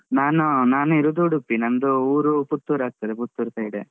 ನಾನೂ ನಾನ್ ಇರುದು ಉಡುಪಿ. ನಂದು ಊರು ಪುತ್ತೂರ್ ಆಗ್ತದೆ. ಪುತ್ತೂರ್ side .